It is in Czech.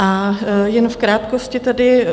A jen v krátkosti tedy.